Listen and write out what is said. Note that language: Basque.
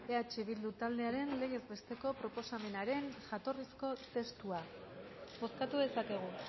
eh bildu taldearen legez besteko proposamenaren jatorrizko testua bozkatu dezakegu